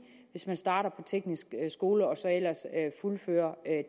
hvis man starter på teknisk skole og så ellers fuldfører